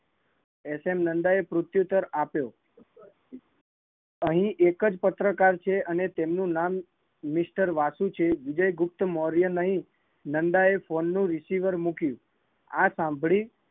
SN Nanda એ પ્રત્યુત્તર આપ્યો, અહીં એક જ પત્રકાર છે અને એનું નામ મિસ્ટર વાસુ છે વિજયગુપ્ત મૌર્ય નહીં, નંદા એ ફોન નું receiver મૂક્યું, આ સાંભળી